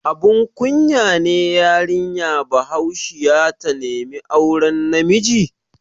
Abun kunya ne yarinya Bahaushiya ta nemi auren namiji?